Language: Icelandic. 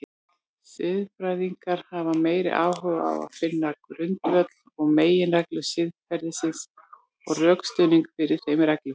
Siðfræðingar hafa meiri áhuga á finna grundvöll og meginreglur siðferðisins og rökstuðning fyrir þeim reglum.